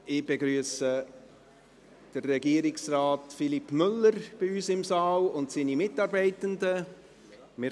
Ich begrüsse Regierungsrat Philippe Müller und seine Mitarbeitenden bei uns im Saal.